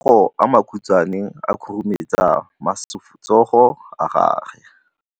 Matsogo a makhutshwane a khurumetsa masufutsogo a gago.